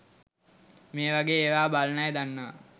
මේවගේ ඒවා බලන අය දන්නවා